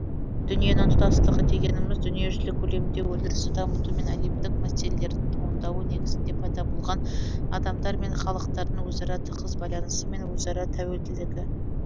дүниенің тұтастығы дегеніміз дүниежүзілік көлемде өндірісті дамыту мен әлемдік мәселелердің туындауы негізінде пайда болған адамдар мен халықтардың өзара тығыз байланысы мен өзара тәуелділігі